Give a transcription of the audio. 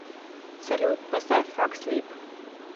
салют поставь фак слип